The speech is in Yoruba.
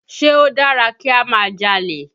Ṣé ó dára kí á máa jalè?